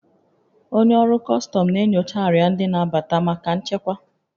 Onye ọrụ kọstọm na-enyocha arịa ndị na-abata maka nchekwa